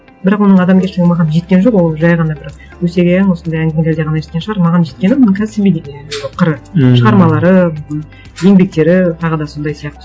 бірақ оның адамгершілігі маған жеткен жоқ ол жай ғана бір өсек аяң осындай әңгімелерде ғана жеткен шығар маған жеткені қыры ммм шығармалары еңбектері тағы да сондай сияқты